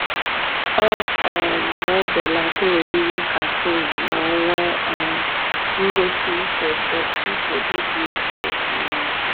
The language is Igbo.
Ọ um na-ebelata oriri caffeine ma o nwee um ngosi nchegbu dị ukwuu. um